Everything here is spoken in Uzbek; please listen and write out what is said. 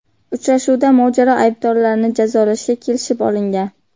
Uchrashuvda mojaro aybdorlarini jazolashga kelishib olingan .